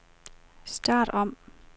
start om